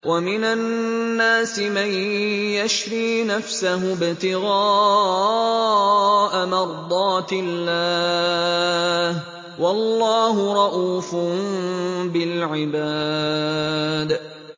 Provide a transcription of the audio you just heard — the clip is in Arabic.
وَمِنَ النَّاسِ مَن يَشْرِي نَفْسَهُ ابْتِغَاءَ مَرْضَاتِ اللَّهِ ۗ وَاللَّهُ رَءُوفٌ بِالْعِبَادِ